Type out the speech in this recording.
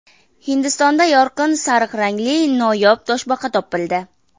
Hindistonda yorqin sariq rangli noyob toshbaqa topildi.